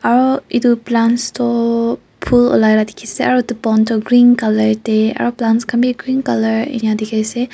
aru etu plants toh phul ulai lah dikhi ase aru etu pond tu green colour teh aru plant khan be green colour enka dikhai ase.